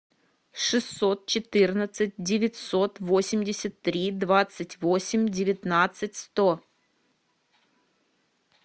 шестьсот четырнадцать девятьсот восемьдесят три двадцать восемь девятнадцать сто